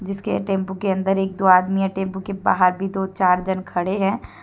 इसके टेम्पू के अंदर एक दो आदमी है टेम्पू के बाहर भी दो चार जन खड़े हैं।